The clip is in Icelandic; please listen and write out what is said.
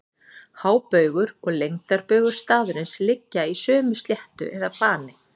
hábaugur og lengdarbaugur staðarins liggja í sömu sléttu eða plani